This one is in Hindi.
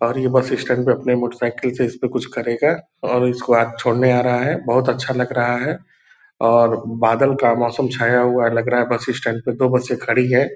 और ये बस स्टैंड पे अपने मोटर साइकिल से इस्पे कुछ करेगा और इसको आज छोड़ने आ रहा है बहुत अच्छा लग रहा है और बादल का मोसम छाया हुआ लग रहा है बस स्टैंड पे दो बसे खड़ी हैं।